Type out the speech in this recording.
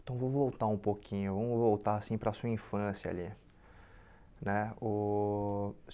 Então vou voltar um pouquinho, vamos voltar assim para sua infância ali né o.